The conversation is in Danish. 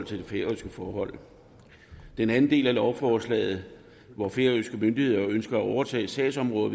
til færøske forhold den anden del af lovforslaget hvor færøske myndigheder ønsker at overtage sagsområdet